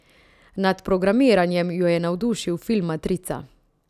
Nad programiranjem jo je navdušil film Matrica.